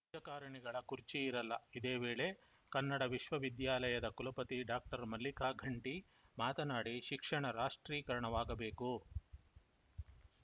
ರಾಜಕಾರಣಿಗಳ ಕುರ್ಚಿ ಇರಲ್ಲ ಇದೇ ವೇಳೆ ಕನ್ನಡ ವಿಶ್ವ ವಿದ್ಯಾಲಯದ ಕುಲಪತಿ ಡಾಕ್ಟರ್ ಮಲ್ಲಿಕಾ ಘಂಟಿ ಮಾತನಾಡಿ ಶಿಕ್ಷಣ ರಾಷ್ಟ್ರೀಕರಣವಾಗಬೇಕು